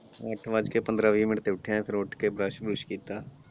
ਇੱਕ ਵੱਜ ਕੇ ਪੰਦਰਾਂ ਵੀਹ minute ਤੇ ਉਠਿਆ ਸੀ ਫਿਰ ਉੱਠ ਕੇ brush ਬਰੁਸ਼ ਕੀਤਾ।